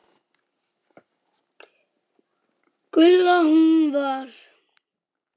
Gulla. hún var.